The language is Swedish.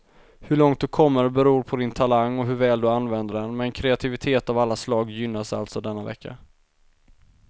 Hur långt du kommer beror på din talang och hur väl du använder den, men kreativitet av alla slag gynnas alltså denna vecka.